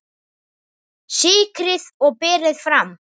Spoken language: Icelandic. Sykrið og berið fram.